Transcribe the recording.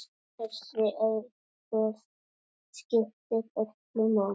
Þessi aðstoð skiptir öllu máli.